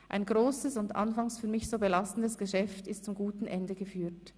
Ein grosses und anfangs für mich so belastendes Geschäft ist zum guten Ende geführt.